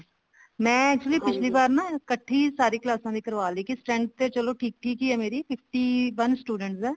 ਮੈਂ actually ਪਿਛਲੀ ਵਾਰ ਨਾ ਇੱਕਠੀ ਸਾਰੀ ਕਲਾਸਾਂ ਦੀ ਕਰਵਾ ਲਈ ਕੀ strength ਤਾਂ ਚਲੋ ਠੀਕ ਠੀਕ ਹੀ ਹੈ ਮੇਰੀ fifty one students ਆ